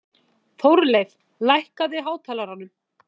Þórleif, lækkaðu í hátalaranum.